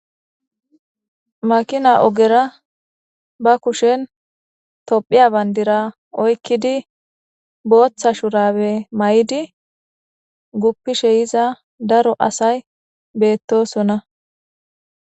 makina ogera ba kushen tophiya bandira oykkidi booththa shurabe mayidi guppishe yiza daro asay beettosonna.